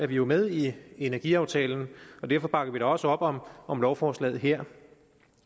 vi jo med i energiaftalen og derfor bakker vi da også op om om lovforslaget her